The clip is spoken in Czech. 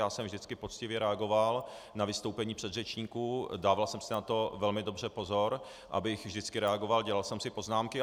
Já jsem vždycky poctivě reagoval na vystoupení předřečníků, dával jsem si na to velmi dobře pozor, abych vždycky reagoval, dělal jsem si poznámky.